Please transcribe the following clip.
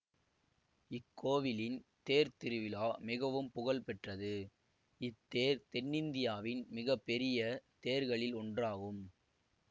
இக்கோவிலின் தேர்த்திருவிழா மிகவும் புகழ்பெற்றது இத்தேர் தென்னிந்தியாவின் மிக பெரிய தேர்களில் ஒன்றாகும்